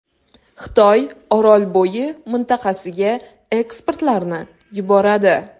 Xitoy Orolbo‘yi mintaqasiga ekspertlarni yuboradi.